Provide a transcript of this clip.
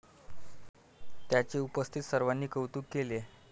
त्याचे उपस्थित सर्वांनी कौतुक केले.